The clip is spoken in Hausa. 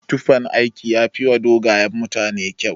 Tufan aiki yafiwa dogayen mutane kyau.